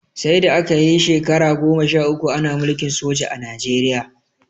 Saida aka yi shekara goma sha uku Ana mulkin soja a Najeriya